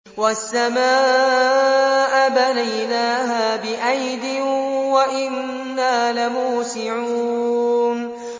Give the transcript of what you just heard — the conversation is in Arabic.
وَالسَّمَاءَ بَنَيْنَاهَا بِأَيْدٍ وَإِنَّا لَمُوسِعُونَ